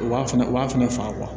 U b'a fɛnɛ u b'a fɛnɛ faga